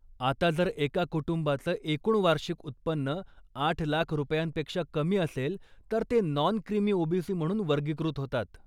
आता जर एका कुटुंबाचं एकूण वार्षिक उत्पन्न आठ लाख रुपयांपेक्षा कमी असेल तर ते नॉन क्रिमी ओबीसी म्हणून वर्गीकृत होतात.